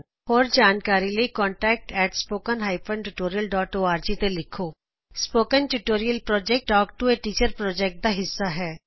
ਹੋਰ ਜਾਣਕਾਰੀ ਲਈ ਤੁਸੀ ਲਿਖ ਸਕਦੇ ਹੋcontactspoken tutorialorg spoken tutorial talk to a teacher project ਦਾ ਇਕ ਹਿੱਸਾ ਹੈ